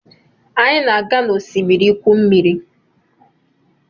Anyi na-aga n'osimiri igwu mmiri